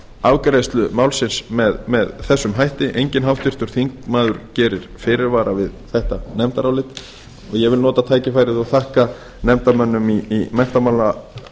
afgreiðslu málsins með þessum hætti enginn háttvirtur þingmaður gerir fyrirvara við þetta nefndarálit en ég vil nota tækifærið og þakka nefndarmönnum í menntamálanefnd